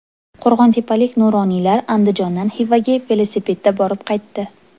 Qo‘rg‘ontepalik nuroniylar Andijondan Xivaga velosipedda borib qaytdi.